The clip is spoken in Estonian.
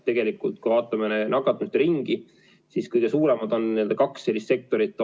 Tegelikult, kui vaatame nakatumiste ringi, siis kõige suuremad on kaks sellist sektorit.